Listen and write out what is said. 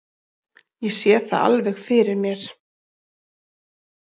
Ég sé það alveg fyrir mér.